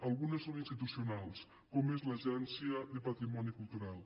algunes són institucionals com és l’agència de patrimoni cultural